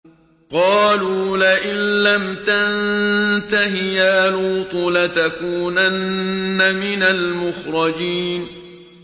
قَالُوا لَئِن لَّمْ تَنتَهِ يَا لُوطُ لَتَكُونَنَّ مِنَ الْمُخْرَجِينَ